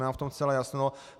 Nemám v tom zcela jasno.